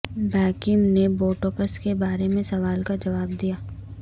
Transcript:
Beckham نے Botox کے بارے میں سوال کا جواب دیا